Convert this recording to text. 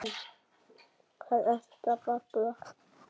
Hvað ertu að babla?